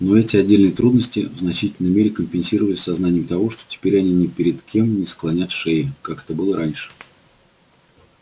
но эти отдельные трудности в значительной мере компенсировались сознанием того что теперь они ни перед кем не склонят шеи как это было раньше